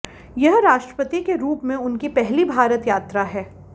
यह राष्ट्रपति के रूप में उनकी पहली भारत यात्रा है